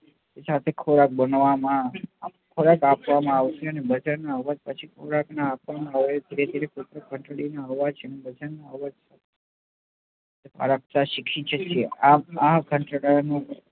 જાતે ખોરાક બનવા માં ખોરાક આપવા માં આવશે ને કોઈ પણ ઘંટડી નો અવાજ આપતા શીખી સક્સે આ ઘંટડા